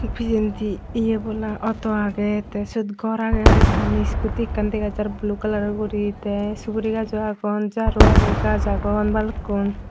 pichendi ye bola auto agey tey syot gor agey hoiekkani scooty ekkan dega jar blue kalaror guri tey sugri gajo agon jaaro agey gaaj agon balukkun.